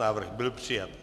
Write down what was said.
Návrh byl přijat.